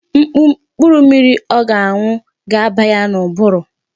Mkpụrụ mmiri ọ ga-aṅụ ga aba ya n'ụbụrụ.